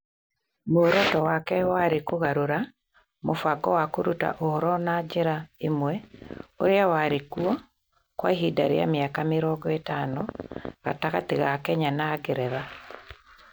Muoroto wake warĩ kũgarũra mũbango wa kũruta ũhoro na njĩra ĩmwe ũrĩa warĩ kuo kwa ihinda rĩa mĩaka mĩrongo ĩtano gatagatĩ ga Kenya na Ngeretha.